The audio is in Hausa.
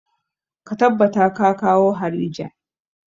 Ka tabbata ka kawo harija!